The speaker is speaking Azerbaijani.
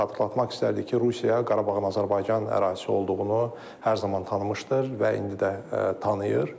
Xatırlatmaq istərdik ki, Rusiya Qarabağın Azərbaycan ərazisi olduğunu hər zaman tanımışdır və indi də tanıyır.